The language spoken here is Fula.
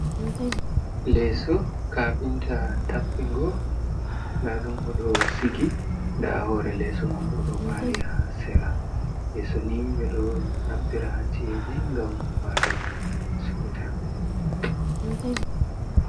Leeso kapinta tappingo nda ɗum oɗo sigi, nda hore leso man bo ɗo ɓari ha sera. Leeso ni ɓeɗo naftira ha ci'eji ngam walugo seuta.